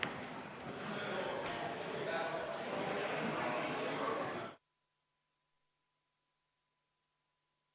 Istungi lõpp kell 18.34.